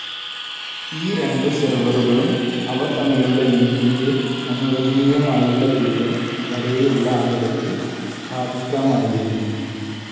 ഈ രണ്ടു സെർവറുകളും, അവ തമ്മിലുള്ള ലിങ്കിന്റെ അനുവദനീയമായുള്ള ദൂരം വരെയുള്ള അകലത്തിൽ സ്ഥാപിക്കാമായിരുന്നു.